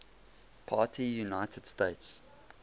party united states